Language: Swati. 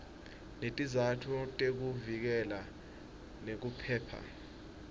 netizatfu tekuvikeleka nekuphepha